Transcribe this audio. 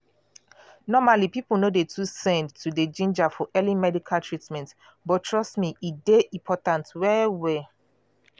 normally people no dey too send to dey ginger for early medical treatment but trust me e dey important well well.